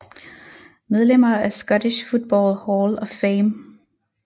Medlemmer af Scottish Football Hall of Fame